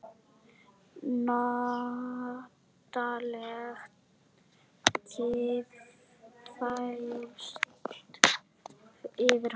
Notaleg kyrrð færist yfir hann.